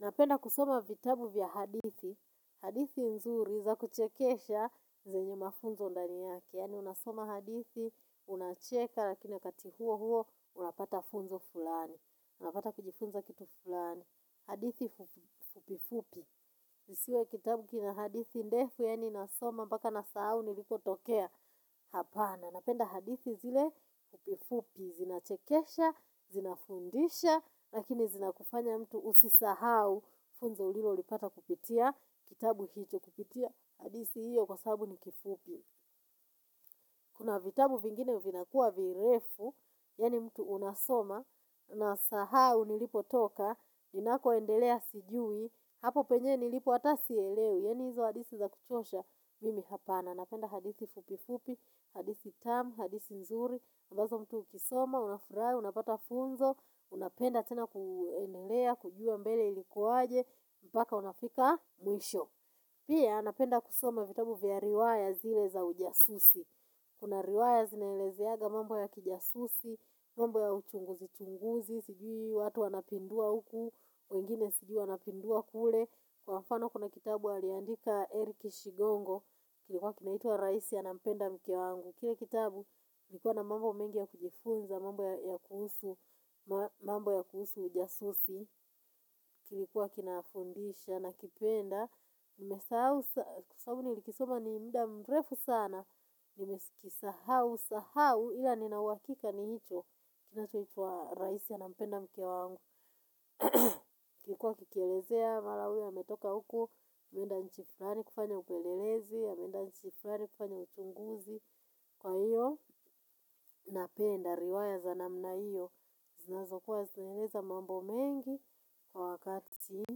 Napenda kusoma vitabu vya hadithi, hadithi nzuri za kuchekesha zenye mafunzo ndani yake. Yani unasoma hadithi, unacheka lakina wakati huo huo, unapata funzo fulani. Unapata kujifunza kitu fulani. Hadithi fupi fupi. Isiwe kitabu kina hadithi ndefu yani nasoma mpaka nasahau niliko tokea. Hapana, napenda hadithi zile fupi fupi. Zinachekesha, zinafundisha, lakini zina kufanya mtu usisahau funzo ulilo lipata kupitia, kitabu hicho kupitia hadisi hiyo kwa sabu ni kifupi kuna vitabu vingine vinakuwa virefu. Yani mtu unasoma unasahau nilipo toka inakoendelea sijui. Hapo penye nilipo ata sielewi. Yani hizo hadisi za kuchosha, mimi hapana. Napenda hadisi fupi fupi, hadisi tamu, hadisi nzuri ambazo mtu ukisoma, unafurai, unapata funzo, unapenda tena kuenelea, kujua mbele ilikuwaje, mpaka unafika mwisho. Pia, napenda kusoma vitabu vya riwaya zile za ujasusi. Kuna riwaya zinaelezeaga mambo ya kijasusi, mambo ya uchunguzi chunguzi, sijui watu wanapindua huku, wengine sijui wanapindua kule. Kwa mfano kuna kitabu aliandika Eric Shigongo, kilikuwa kinaitwa raisi anampenda mke wangu. Kile kitabu ilikuwa na mambo mengi ya kujifunza, mambo ya kuhusu, mambo ya kuhusu ujasusi, kilikuwa kina fundisha nakipenda, nimesahau, sababu nlikisoma ni mda mrefu sana, nimesikisahau, sahau, ila ninauhakika ni hicho, kinachoitwa raisi anampenda mke wangu. Kilikuwa kikielezea, mara huyu ametoka huku, kwenda nchi flani kufanya upelelezi, ameenda nchi flani kufanya uchunguzi, kwa hiyo, napenda, riwaya za namna iyo, zinazokuwa zinaeleza mambo mengi kwa wakati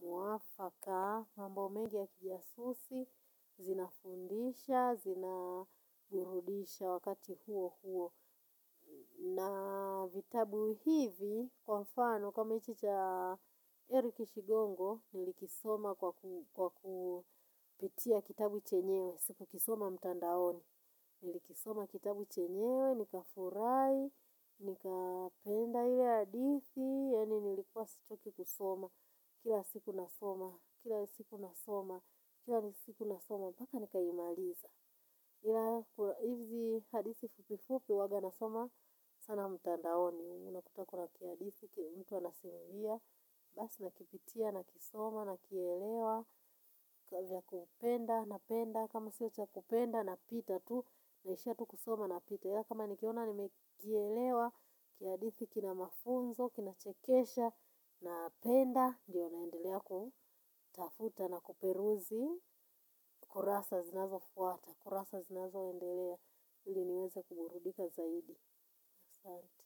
muafaka, mambo mengi ya kijasusi, zinafundisha, zinaburudisha wakati huo huo. Na vitabu hivi, kwa mfano, kama hichi cha Eric shigongo, nilikisoma kwa kupitia kitabu chenyewe, siku kisoma mtandaoni, nilikisoma kitabu chenyewe, nika furai, nikapenda ile hadithi, yani nilikuwa sichoki kusoma, kila siku nasoma, kila siku nasoma, kila siku nasoma, mpaka nikaimaliza. Ila hizi hadithi fupi fupi huaga nasoma sana mtandaoni. Huwa unakuta kuna kiadithi kienye mtu anasimulia. Basi nakipitia na kisoma na kielewa. Kavya kupenda na penda. Kama sio cha kupenda napita tu. Naishia tu kusoma napita. Kama nikiona nimekielewa kiadithi kina mafunzo. Kina chekesha na penda. Ndiyo naendelea kutafuta na kuperuzi. Kurasa zinazofuata. Kurasa zinazoendelea, ili niweze kuburudika zaidi. Asanti.